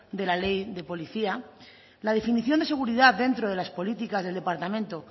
de la ley de policía la definición de seguridad dentro de las políticas del departamento